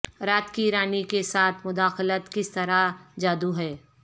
رات کی رانی کے ساتھ مداخلت کس طرح جادو ہے